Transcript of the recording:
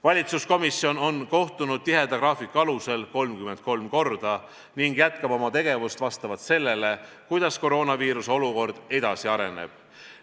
Valitsuskomisjon on kohtunud tiheda graafiku alusel 33 korda ning jätkab oma tegevust vastavalt sellele, kuidas koroonaviiruse olukord edasi areneb.